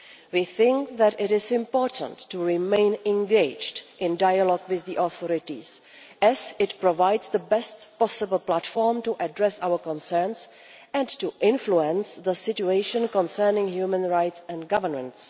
We think that it is important to remain engaged in dialogue with the authorities, as this provides the best possible platform from which to address our concerns and to influence the situation concerning human rights and governance.